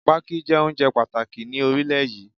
Pákí jẹ́ oúnjẹ pàtàkì ni orílẹ̀ yí.